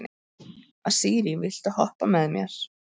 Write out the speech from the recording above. Asírí, viltu hoppa með mér?